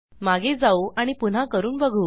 मागे जाऊ आणि पुन्हा करून बघू